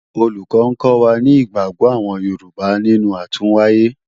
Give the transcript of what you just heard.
Olùkọ́ni ń kọ́ wa ní ìgbàgbọ́ àwọn Yorùbá nínú àtúnwáyé